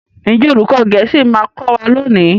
Njé olùkó gèésì ma kò wá lóni?